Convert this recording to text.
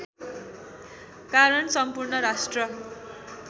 कारण सम्पूर्ण राष्ट्र